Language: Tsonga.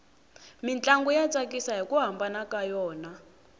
mintlangu ya tsakisa hiku hambana ka yona